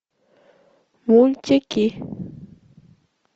мультики